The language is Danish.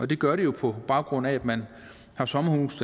det gør de jo på baggrund af at man har sommerhuse